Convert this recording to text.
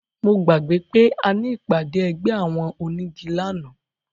Mo gbàgbé pé a ní ìpàdé ẹgbẹ́ àwọn onígi lánàá